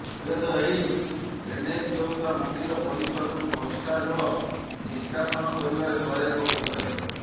ହୁଏତ ଏହି ଡ୍ରେନେଜ ବ୍ୟବସ୍ଥା ମନ୍ଦିର ପରିସରରୁ ବର୍ଷା ଜଳ ନିସ୍କାସନ କରିବାରେ ସହାୟକ ହୋଇପାରେ